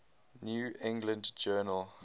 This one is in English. new england journal